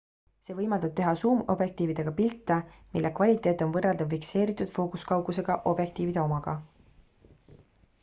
see võimaldab teha suumobjektiividega pilte mille kvaliteet on võrreldav fikseeritud fookuskaugusega objektiivide omaga